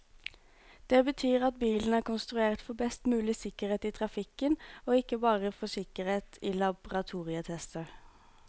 Det betyr at bilen er konstruert for best mulig sikkerhet i trafikken, og ikke bare for sikkerhet i laboratorietester.